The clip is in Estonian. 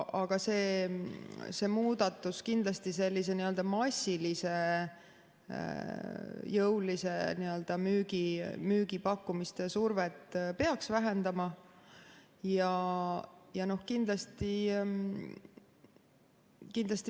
Aga see muudatus kindlasti massilise jõulise müügipakkumise survet peaks vähendama.